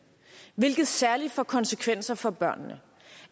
hvilket særlig får konsekvenser for børnene